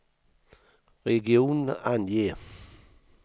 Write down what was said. region, ange